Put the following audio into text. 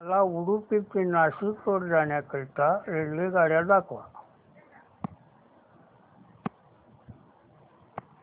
मला उडुपी ते नाशिक रोड जाण्या करीता रेल्वेगाड्या दाखवा